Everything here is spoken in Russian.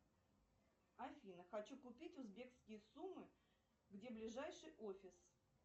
афина хочу купить узбекские сумы где ближайший офис